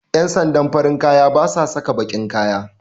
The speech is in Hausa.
Ƴan sandan farin kaya basa saka baƙin kaya